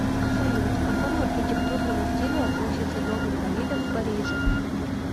салют к какому архитектурному стилю относится дом инвалидов в париже